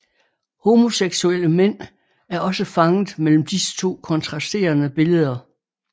Homoseksuelle mænd er også fanget mellem disse to kontrasterende billeder